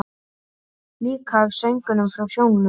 Líka af söngnum frá sjónum.